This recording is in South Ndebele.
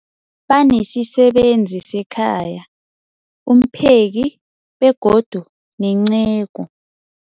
Banesisebenzi sekhaya, umpheki, begodu nenceku.